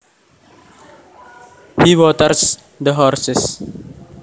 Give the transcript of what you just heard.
He waters the horses